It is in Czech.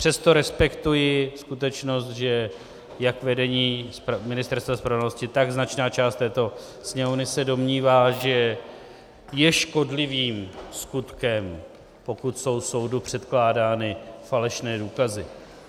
Přesto respektuji skutečnost, že jak vedení Ministerstva spravedlnosti, tak značná část této Sněmovny se domnívá, že je škodlivým skutkem, pokud jsou soudu předkládány falešné důkazy.